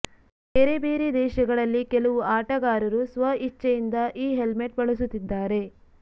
ಬೇರೆ ಬೇರೆ ದೇಶಗಳಲ್ಲಿ ಕೆಲವು ಆಟಗಾರರು ಸ್ವಇಚ್ಚೆಯಿಂದ ಈ ಹೆಲ್ಮೆಟ್ ಬಳಸುತ್ತಿದ್ದಾರೆ